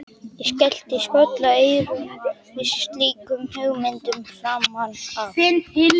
Ég skellti skollaeyrum við slíkum hugmyndum framan af.